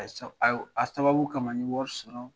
A sababu kama n ye wari sɔrɔ